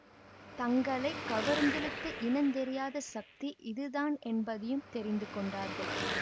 தங்களை கவர்ந்திழுத்த இனந் தெரியாத சக்தி இதுதான் என்பதையும் தெரிந்து கொண்டார்கள்